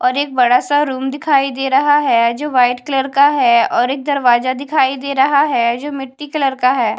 और एक बड़ा सा रूम दिखाई दे रहा है जो वाइट कलर का है और एक दरवाजा दिखाई दे रहा है जो मिट्टी कलर का है।